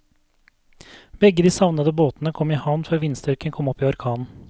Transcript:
Begge de savnede båtene kom i havn før vindstyrken kom opp i orkan.